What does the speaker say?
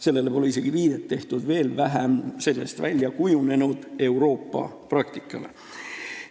Sellele pole isegi viidet tehtud, veel vähem on sellest välja kujunenud mõju Euroopa praktikale.